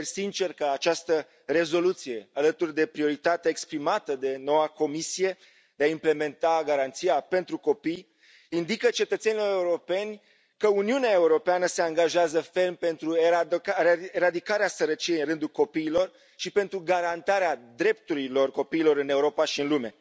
Sper sincer că această rezoluție, alături de prioritatea exprimată de noua Comisie de a implementa garanția pentru copii, indică cetățenilor europeni că Uniunea Europeană se angajează ferm pentru eradicarea sărăciei în rândul copiilor și pentru garantarea drepturilor copiilor în Europa și în lume.